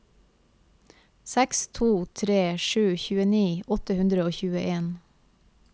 seks to tre sju tjueni åtte hundre og tjueen